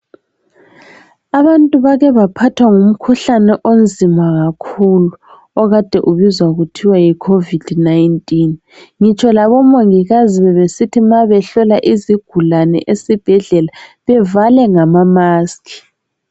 Abantu bake baphathwa ngumkhuhlane onzima kakhulu okade ubizwa kuthiwa yi COVID 19. Ngitsho labo mongikazi bebesi ma behlola izigulane esibhedlela bevale ngamask.